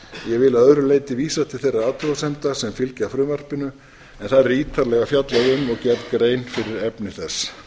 ég vil að öðru leyti vísa til þeirra athugasemda sem fylgja frumvarpinu en þar er ítarlega fjallað um og gerð grein fyrir efni þess